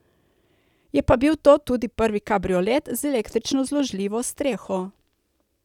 Je pa bil to tudi prvi kabriolet z električno zložljivo streho.